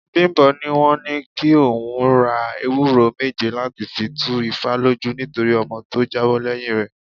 Bimbo ní wọ́n ní kí òun ra ewúré méje láti fi tú ifá lójú nítorí ọmọ tó jábọ́ lẹ́yìn rè.